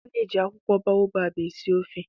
A na-eji akwụkwọ baobab esi ofe